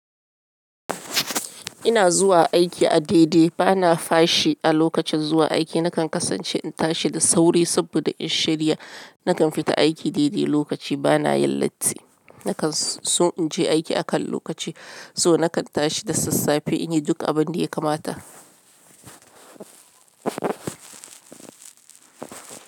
Ina zuwa aiki a daidai, bana fashi a lokacin zuwa aiki. Nakan kasance in tashi da sauri saboda in shari'a. Nakan fita aiki daidai lokaci, ba na yin latti. Nakan, sun in je aiki akan lokaci, so nakan tashi da sassafe in yi duk abin da ya kamata.